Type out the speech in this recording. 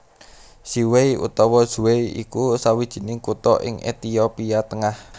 Ziway utawa Zway iku sawijining kutha ing Ethiopia tengah